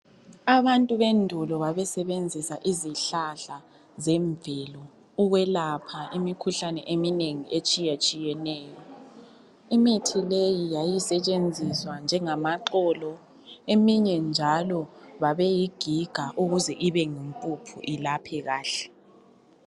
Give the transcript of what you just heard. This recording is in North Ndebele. Abantu bendulo babesebenzisa izihlahla zemvelo ukwelapha imikhuhlane eminengi etshiyatshiyeneyo. Imithi leyi yayisetshenziswa njengamaxolo, eminye njalo babeyigiga ukuze ibe yimpuphu ilaphe kahle.